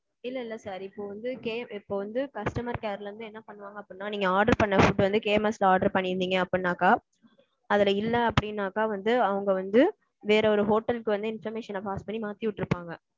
இல்ல இல்ல sir. இப்போ வந்து okay இப்போ வந்து customer careல இருந்து என்ன பண்ணுவாங்க அப்படினா நீங்க order பண்ண food வந்து KMS ல order பண்ணியிருந்தீங்க அப்பிடின்னாக்கா அதுல இல்ல அப்பிடின்னாக்கா வந்து அவங்க வந்து வேற ஒரு hotel கு வந்து information pass பன்னி மாத்தி உட்டிருப்பாங்க.